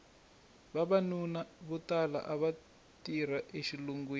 vavanuna vo tala ava tirha exilungwini